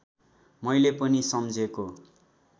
मैले पनि सम्झेको